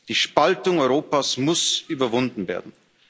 Die Spaltung Europas muss überwunden werden.